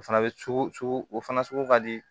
O fana bɛ cogo sugu o fana sugu ka di